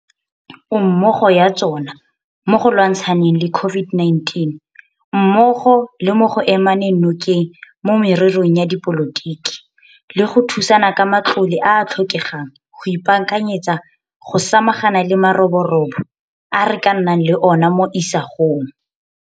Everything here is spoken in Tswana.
Ommogo ya tsona mo go lwantsha neng le COVID-19 mmogo le mo go emaneng nokeng mo mererong ya dipolotiki le go thusana ka matlole a a tlhokegang go ipaakanyetsa go samagana le maroborobo a re ka nnang le ona mo isagong.